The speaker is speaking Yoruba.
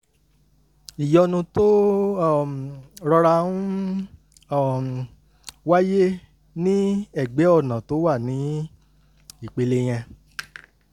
ìyọnu tó um rọra ń um wáyé ní ẹ̀gbẹ́ ọ̀nà tó wà ní ìpele yẹn